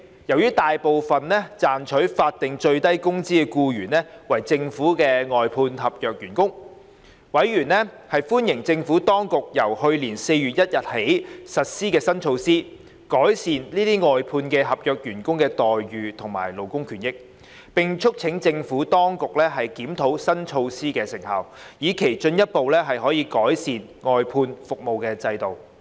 由於大部分賺取法定最低工資的僱員為政府外判合約員工，委員歡迎政府當局由去年4月1日起實施新措施，改善這些外判合約員工的待遇和勞工權益，並促請政府當局檢討新措施的成效，以期進一步改善外判服務制度。